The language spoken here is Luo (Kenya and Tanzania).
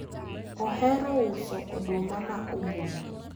ohero uso oduma ma obul